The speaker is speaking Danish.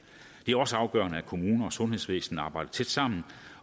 det er også afgørende at kommuner og sundhedsvæsenet arbejder tæt sammen